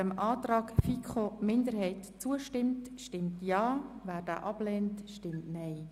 Wer dem Antrag der FiKo-Minderheit zustimmt, stimmt Ja, wer diesen ablehnt, stimmt Nein.